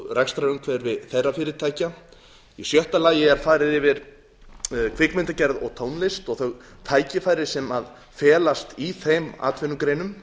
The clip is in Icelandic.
rekstrarumhverfi þeirra fyrirtækja sjötta farið er yfir kvikmyndagerð og tónlist og þau tækifæri sem felast í þeim atvinnugreinum